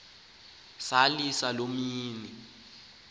salila loo mini